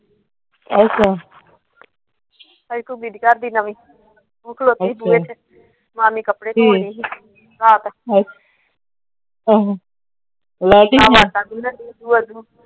ਮਾਮੀ ਕੱਪੜੇ ਧੋ ਰਹੀ ਸੀ ਆਪ।